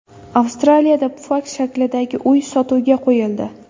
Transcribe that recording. Avstraliyada pufak shaklidagi uy sotuvga qo‘yildi .